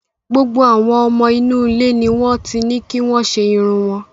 Gbogbo àwọn ọmọ inú ilé ni wọ́n ti ní kí wọ́n ṣe irun wọn.